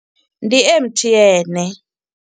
Ndi M_T_N.